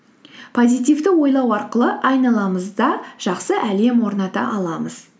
позитивті ойлау арқылы айналамызда жақсы әлем орната аламыз